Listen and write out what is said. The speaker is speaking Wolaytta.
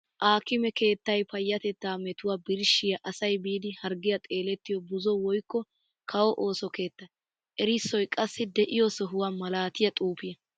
Aakkime keettay payatetta metuwa birshshiya asay biidi harggiya xeelettiyo buzo woykko kawo ooso keetta. Erissoy qassi de'iyo sohuwa malattiya xuufiya.